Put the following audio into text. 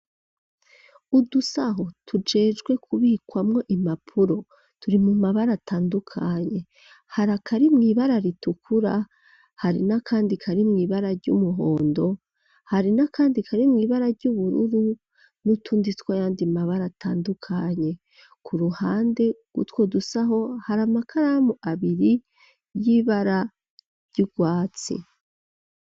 Udusaho tujejwe kubikwamwo imapuro turi mu mabara atandukanye hari akari mw'ibara ritukura hari n'akandi kari mw'ibara ry'umuhondo hari n'akandi kari mw'ibara ry'ubururu n'utundi twayandi mabara atandukanye ku ruhande gutwo dusaho hari amakaramu abiri y'ibara ry'urwatsi.